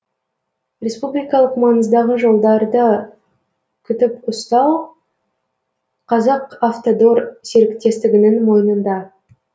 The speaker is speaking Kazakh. республикалық маңыздағы жолдарды күтіп ұстау қазақавтодор серіктестігінің мойнында